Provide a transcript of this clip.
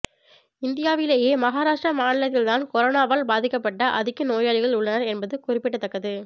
இந்தியாவிலேயே மகாராஷ்டிரா மாநிலத்தில்தான் கொரோனானாவால் பாதிக்கப்பட்ட அதிக நோயாளிகள் உள்ளனர் என்பது குறிப்பிடத்தக்கது